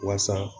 Waasa